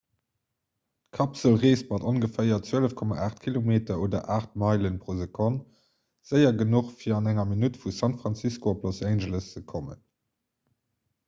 d'kapsel reesst mat ongeféier 12,8 km oder 8 meilen pro sekonn séier genuch fir an enger minutt vu san francisco op los angeles ze kommen